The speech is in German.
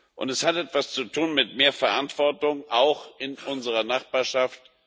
Und es hat etwas zu tun mit mehr Verantwortung auch in unserer Nachbarschaft.